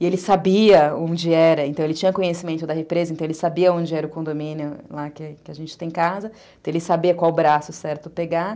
E ele sabia onde era, então ele tinha conhecimento da represa, então ele sabia onde era o condomínio lá que a gente tem casa, então ele sabia qual braço certo pegar.